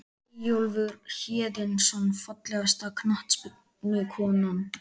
Eyjólfur Héðinsson Fallegasta knattspyrnukonan?